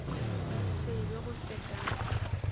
se be go se ka